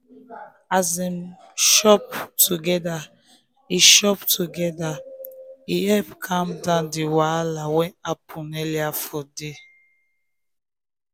um as dem chop together e chop together e help calm down di wahala wey happen um earlier for day.